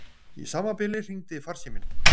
Í sama bili hringdi farsíminn.